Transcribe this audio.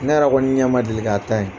Ne yɛrɛ kɔni ɲɛ man deli k'a ta ye.